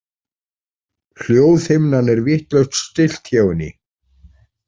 Hljóðhimnan er vitlaust stillt hjá henni.